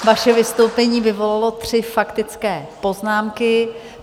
Vaše vystoupení vyvolalo tři faktické poznámky.